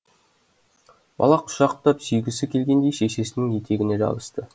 бала құшақтап сүйгісі келгендей шешесінің етегіне жабысты